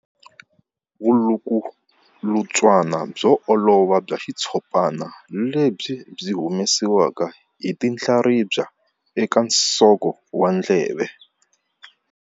Vulukulutswana byo olova bya xitshopana lebyi byi humesiwaka hi tinhlaribya eka nsoko wa ndleve.